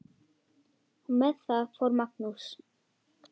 Og með það fór Magnús.